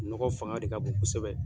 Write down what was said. Nɔgɔ fanga de ka bon kosɛbɛ.